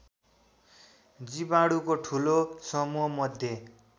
जीवणुको ठूलो समूहमध्ये